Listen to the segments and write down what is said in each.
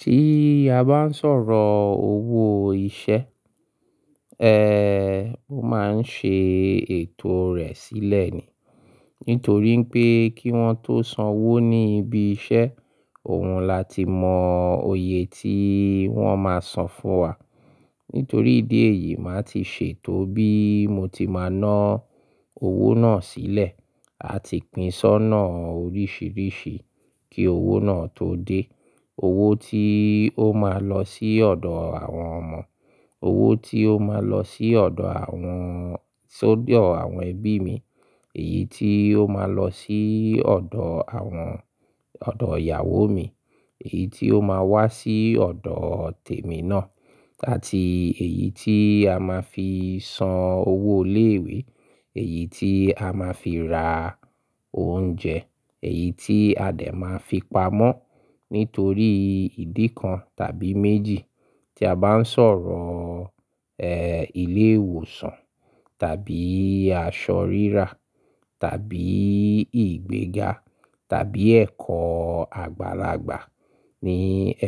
Tí a bá ń sọ̀rọ̀ owó iṣẹ́, mo máa ń ṣe ètò rẹ̀ sílẹ̀ ni. Nítorí n pé kí wọn tó sanwó ní ibi iṣẹ́, òun láti mọ oyè tí wọ́n máa san fún wa. Nítorí ìdí èyí, màá ti ṣètò bí mo ti máa ná owó náà sílẹ̀, àti pín ṣonà oríṣìíríṣìí kí owó náà tó dé. Owó tí ó máa lọ sí ọ̀dọ̀ àwọn ọmọ, owó tí ó máa lọ sí ọ̀dọ̀ àwọn sódọ̀ àwọn ẹbí mi, èyí tí ó máa lọ sí ọ̀dọ̀ àwọn-- ọ̀dọ̀ ìyàwó mi, èyí tí ó máa wá sí ọ̀dọ̀ tèmi náà, àtí èyí tí a máa fi san owó ilé ìwé, èyí tí a máa fi ra oúnjẹ, èyí tí a dé máa fi pamọ́ nítorí ìdí kan tàbí mèjì. Tí a bá ń sọ̀rọ̀ ilé ìwòsàn tàbí aṣọ rírà tàbí ìgbéga tàbí ẹ̀kọ́ àgbàlagbà ní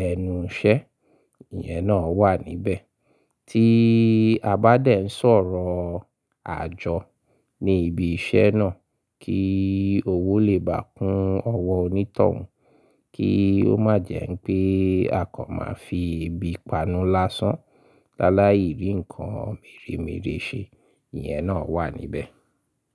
ẹnu iṣẹ́, ìyẹn náà wà níbẹ̀. Tí a bá dẹ̀ ń sọ̀rọ̀ àjọ ní ibi iṣẹ́ náà kí owó lè bà kún ọwọ́ onítọ̀hún, kí ó má jẹ́ pé a kó máa fi èbi panú lásán láláì rí ǹkan mèremère ṣe, ìyẹn náà wà níbẹ̀.